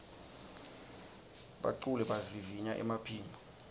baculi bavivinya emaphimbo